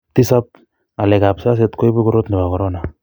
tisap, ngalekab siaset koibu korot nebo corona